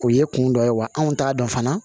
O ye kun dɔ ye wa anw t'a dɔn fana